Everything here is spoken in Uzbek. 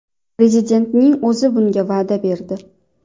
Prezidentning o‘zi bunga va’da berdi.